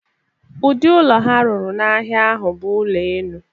Ụdị ụlọ ha rụrụ n'ahịa ahụ bụ ụlọ enu.